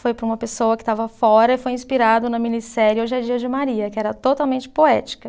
Foi para uma pessoa que estava fora e foi inspirado na minissérie Hoje é Dia de Maria, que era totalmente poética.